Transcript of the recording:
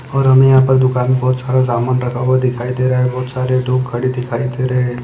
और हमे यहा पर दुकान बहुत सारा सामान रखा हुआ दिखाई दे रहा है बहुत सारे लोग खडे दिखाई दे रहे।